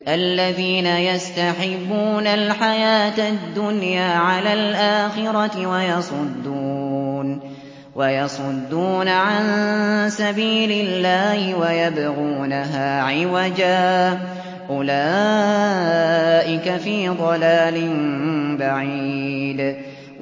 الَّذِينَ يَسْتَحِبُّونَ الْحَيَاةَ الدُّنْيَا عَلَى الْآخِرَةِ وَيَصُدُّونَ عَن سَبِيلِ اللَّهِ وَيَبْغُونَهَا عِوَجًا ۚ أُولَٰئِكَ فِي ضَلَالٍ بَعِيدٍ